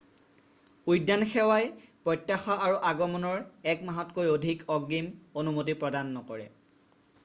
উদ্যান সেৱাই minae প্ৰত্যাশা কৰা আগমনৰ ১ মাহতকৈ অধিক অগ্ৰিম অনুমতি প্ৰদান নকৰে।